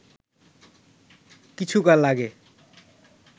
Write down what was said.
কিছুকাল আগে